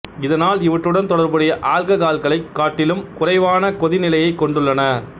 இதனால் இவற்றுடன் தொடர்புடைய ஆல்ககால்களைக் காட்டிலும் குறைவான கொதினிலையைக் கொண்டுள்ளன